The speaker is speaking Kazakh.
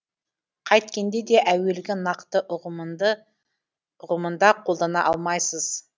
қайткенде де әуелгі нақты ұғымында қолдана алмайсыз